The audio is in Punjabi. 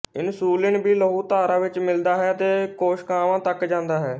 ਇਨਸੂਲਿਨ ਵੀ ਲਹੂਧਾਰਾ ਵਿੱਚ ਮਿਲਦਾ ਹੈ ਅਤੇ ਕੋਸ਼ਿਕਾਵਾਂ ਤੱਕ ਜਾਂਦਾ ਹੈ